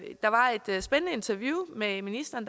der var et spændende interview med ministeren